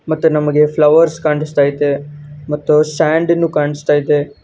ಮತ್ತೆ ನಮಗೆ ಫ್ಲವರ್ಸ್ ಕಾಣಸ್ತಾ ಐತೆ ಮತ್ತೆ ಸ್ಯಾಂಡಿ ಕಾಣಿಸ್ತಾ ಇದೆ.